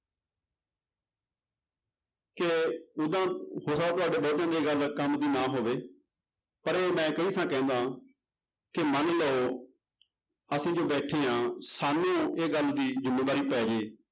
ਕਿ ਜਿੱਦਾਂ ਹੋ ਸਕਦਾ ਤੁਹਾਡੇ ਬਹੁਤਿਆਂ ਦੇ ਇਹ ਗੱਲ ਕੰਮ ਦੀ ਨਾ ਹੋਵੇ ਪਰ ਮੈਂ ਕਈ ਥਾਂ ਕਹਿੰਦਾ ਕਿ ਮੰਨ ਲਓ ਅਸੀਂ ਜੋ ਬੈਠੇ ਹਾਂ ਸਾਨੂੰ ਇਹ ਗੱਲ ਦੀ ਜ਼ਿੰਮੇਵਾਰੀ ਪੈ ਜਾਏ,